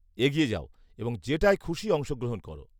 -এগিয়ে যাও এবং যেটায় খুশি অংশগ্রহণ করো।